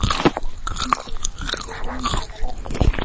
Kannski yrði hringt í mömmu, eða lögguna.